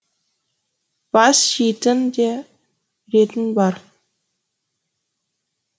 бас жейтін де ретің бар